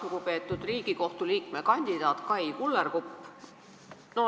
Lugupeetud Riigikohtu liikme kandidaat Kai Kullerkupp!